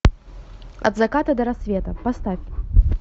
от заката до рассвета поставь